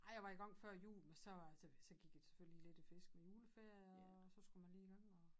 Ej jeg var i gang før jul men så øh så var så gik jeg selvfølgelig lidt i fisk med juleferie og så skulle man lige i gang